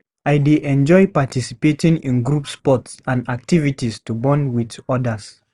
I dey enjoy participating in group sports and activities to bond with others.